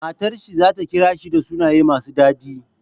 Matar shi zata kira shi da sunaye masu dadi?